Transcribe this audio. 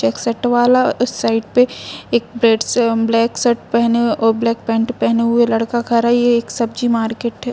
एकसठ वाला उस साइट पे एक ब्रेड से ब्लैक शर्ट पहने और ब्लैक पैंट पहने हुए लड़का का रही है एक सब्जी मार्केट हे।